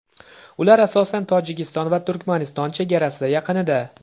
Ular asosan Tojikiston va Turkmaniston chegarasi yaqinida.